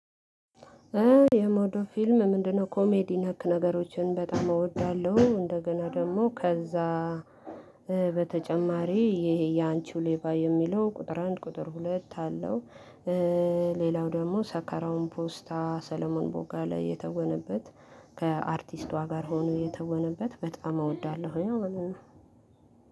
የምወደው ፊልም ምንድነው? ኮሜዲ ነክ ነገሮችን በጣም እወዳለሁ። እንደገና ደግሞ ከዛ በተጨማሪ ይሄ ያንቺው ሌባ የሚለው ቁጥር አንድ ቁጥር ሁለት አለው። ሌላው ደግሞ ሰከራውን ፖስታ ሰለሞን ቦጋሌ የተወነበት ከአርቲስቷ ጋር ሆኖ የተወነበት በጣም እወዳለሁ። አሁን